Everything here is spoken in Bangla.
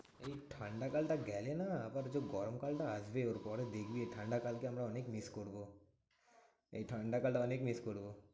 এই ঠান্ডাকাল টা গেলে না আবার যে গরম কাল টা আসবে। ওর পরে দেখবি এই ঠান্ডাকালকে আমরা অনেক miss করবো। এই ঠান্ডাকালটা অনেক miss করবো।